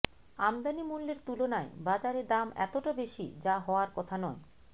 আমদানিমূল্যের তুলনায় বাজারে দাম এতটা বেশি যা হওয়ার কথা নয়